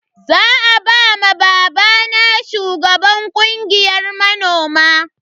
Za a ba ma babana shugaban kungiyar manoma.